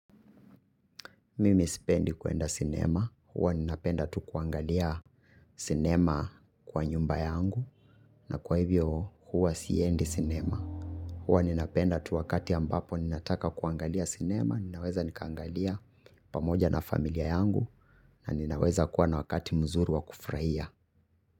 Mimi sipendi kuenda sinema. Huwa ninapenda tu kuangalia sinema kwa nyumba yangu na kwa hivyo huwa siendi sinema. Huwa ninapenda tu wakati ambapo ninataka kuangalia sinema ninaweza nikaangalia pamoja na familia yangu na ninaweza kuwa na wakati mzuri wa kufurahia.